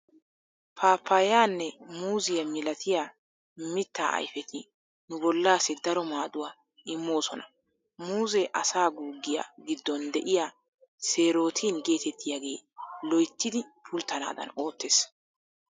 Paappayaanne muuziya milatiya mittaa ayfeti nu bollaassi daro maaduwaa immoosona. Muuzee asaa guuggiya giddon de'iya "seerootin" geetettiyaagee loyttidi pulttanaadan oottees.